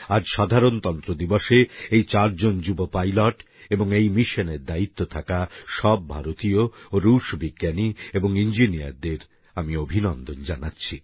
আজ সাধারনতন্ত্র দিবসে এই চারজন যুবক পাইলট এবং এই মিশনের দায়িত্বে থাকা সব ভারতীয় রুশ বিজ্ঞানী এবং ইঞ্জিনিয়ারদের আমি অভিনন্দন জানাচ্ছি